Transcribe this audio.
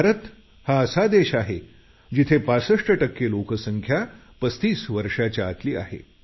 भारत असा देश आहे जिथे 65 टक्के लोकसंख्या 35 वर्षाच्या आतली आहे